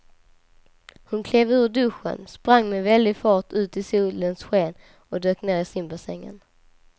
Hon klev ur duschen, sprang med väldig fart ut i solens sken och dök ner i simbassängen.